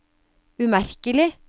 umerkelig